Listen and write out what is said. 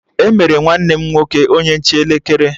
Emere nwanne m nwoke onye nche elekere